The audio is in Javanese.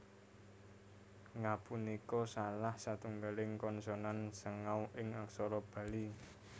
Nga punika salah satunggaling konsonan sengau ing aksara Bali